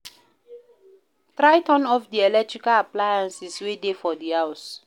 Try turn off di electrical appliances wey de for di house